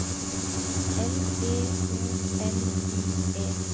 L E O N I E